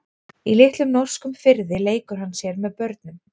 Í litlum norskum firði leikur hann sér með börnum.